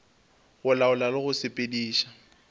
go laola le go sepediša